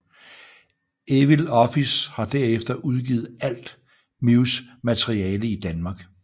Evil Office har derefter udgivet alt Mews materiale i Danmark